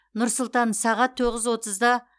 нұр сұлтан сағат тоғыз отызда